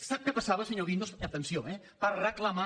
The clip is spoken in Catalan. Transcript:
sap què passava senyor guindos atenció eh per reclamar